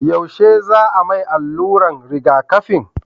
yaushe za a mai alluran rigaƙafi?